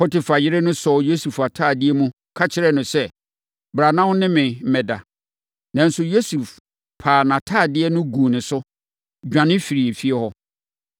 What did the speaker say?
Potifar yere no sɔɔ Yosef atadeɛ mu, ka kyerɛɛ no sɛ, “Bra na wo ne me mmɛda!” Nanso, Yosef paa nʼatadeɛ no guu ne so, dwane firii efie hɔ.